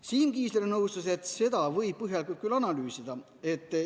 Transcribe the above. Siim Kiisler nõustus, et seda võib põhjalikult analüüsida.